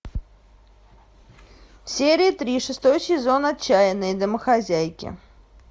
серия три шестой сезон отчаянные домохозяйки